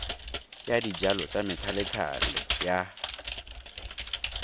ya dijalo tsa methalethale ya